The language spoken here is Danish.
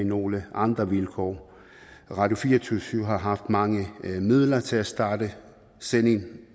nogle andre vilkår radio24syv har haft mange midler til at starte sendingen